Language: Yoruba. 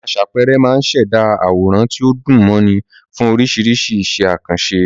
Àwọn aṣàpẹẹrẹ máa ń ṣẹ̀dá àwòrán tí ó dùn mọ́ni fún oríṣiríṣi iṣẹ́ àkànṣe.